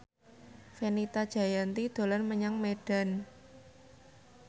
Fenita Jayanti dolan menyang Medan